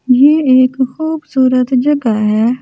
ये एक खुबसूरत जगह हैं ।